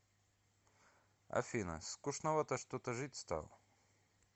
афина скучновато что то жить стало